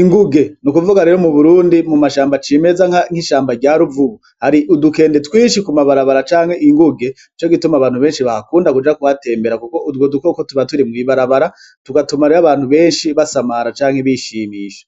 inguge n'ukuvuga rero mu Burundi mu mashamba cimeza nk'ishamba rya ruvubu hari udukende twinshi ku mabarabara canke inguge Nico gituma abantu benshi bahakunda kuja kuhatembera kuko utwo dukoko tuba turi mw'ibarabara tugatuma rero abantu benshi basamara canke bishimisha.